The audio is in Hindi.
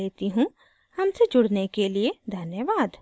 हमसे जुड़ने के लिए धन्यवाद